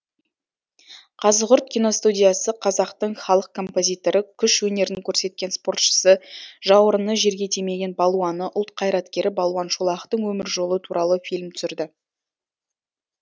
қазығұрт киностудиясы қазақтың халық композиторы күш өнерін көрсеткен спортшысы жауырыны жерге тимеген балуаны ұлт қайраткері балуан шолақтың өмір жолы туралы фильм түсірді